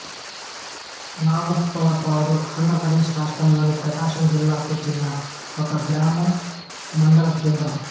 నాగులుప్పలపాడు ఆంధ్ర ప్రదేశ్ రాష్ట్రములోని ప్రకాశం జిల్లాకు చెందిన ఒక గ్రామం మండలకేంద్రం